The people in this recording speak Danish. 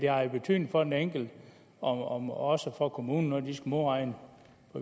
har betydning for den enkelte og også for kommunen når de skal modregne